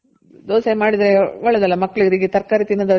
ದೋಸೆ ಮಾಡಿದ್ರೆ ಒಳ್ಳೇದಲ್ಲ ಮಕ್ಳಿಗೆ ತರಕಾರಿ ತಿನ್ನೋದವರಿಗೆಲ್ಲ